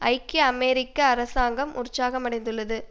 ஐக்கிய அமெரிக்க அரசாங்கம் உற்சாகமடைந்துள்ளது